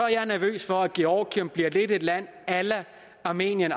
jeg nervøs for at georgien lidt bliver et land a la armenien